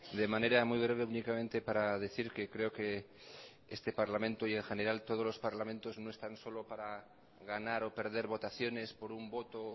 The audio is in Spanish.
de manera muy breve únicamente para decir que creo que este parlamento y en general todos los parlamentos no están solo para ganar o perder votaciones por un voto o